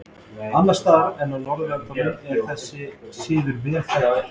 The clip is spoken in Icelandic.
Annars staðar á Norðurlöndum er þessi siður vel þekktur.